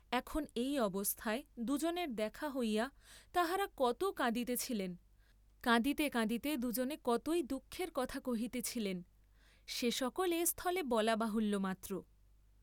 এখন এই অবস্থায় দুজনের দেখা হইয়া তাঁহারা কত কাঁদিতেছিলেন, কাঁদিতে কাঁদিতে দুজনে কতই দুঃখের কথা কহিতেছিলেন, সে সকল এস্থলে বলা বাহুল্য মাত্র।